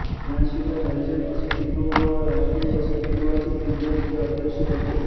यांशिवाय हरिजन वसतिगृह व राष्ट्रीय वसतिगृहाचे दिग्रस ते अध्यक्ष होते